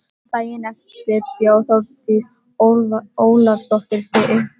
Daginn eftir bjó Þórdís Ólafsdóttir sig uppá.